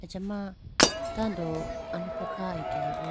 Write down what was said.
achama tando alofra kha akeyayi bo.